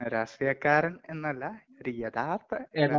രാഷ്ട്രീയക്കാരൻ എന്നല്ല, ഒരു യഥാർത്ഥ...